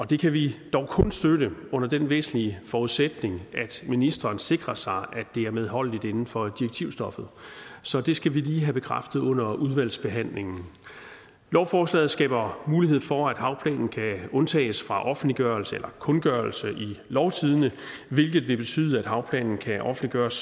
det kan vi dog kun støtte under den væsentlige forudsætning at ministeren sikrer sig at det er medholdeligt inden for direktivstoffet så det skal vi lige have bekræftet under udvalgsbehandlingen lovforslaget skaber mulighed for at havplanen kan undtages fra offentliggørelse eller kundgørelse i lovtidende hvilket vil betyde at havplanen kan offentliggøres